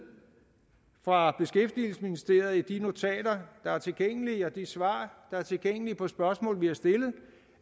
fra beskæftigelsesministeriet i de notater der er tilgængelige og de svar der er tilgængelige på spørgsmål vi har stillet